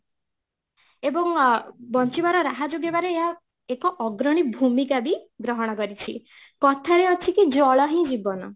ଏବଂ ଆ ବଞ୍ଚିବାର ରାହା ଯଦି ହେବାରେ ଏକ ଅଗ୍ରଣୀ ଭୂମିକା ବି ଗ୍ରହଣ କରିଛି, କଥା ରେ ଅଛି କି ଜଳ ହି ଜୀବନ